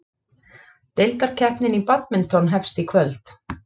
Deildakeppnin í badminton hefst í kvöld